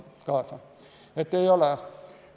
Nii et vastus on, et ei ole.